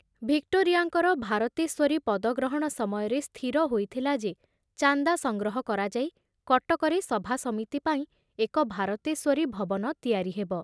ଭିକ୍ଟୋରିଆଙ୍କର ଭାରତେଶ୍ଵରୀ ପଦଗ୍ରହଣ ସମୟରେ ସ୍ଥିର ହୋଇଥିଲା ଯେ ଚାନ୍ଦା ସଂଗ୍ରହ କରାଯାଇ କଟକରେ ସଭାସମିତି ପାଇଁ ଏକ ଭାରତେଶ୍ୱରୀ ଭବନ ତିଆରି ହେବ